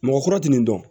Mɔgɔkɔrɔ tɛ nin dɔn